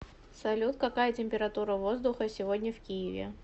салют какая температура воздуха сегодня в киеве